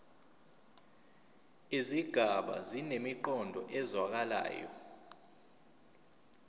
izigaba zinemiqondo ezwakalayo